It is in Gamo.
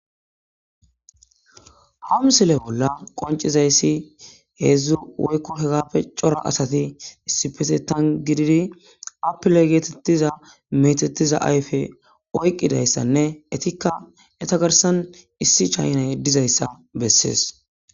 ha misele bolla qoncizayssi hedzdzu woykko hegappe cora asati issipetetan gididi appile geetettiza metettiza ayfe oyqqidayssanne etikka eta garsan issi chaynay dizayssa bessees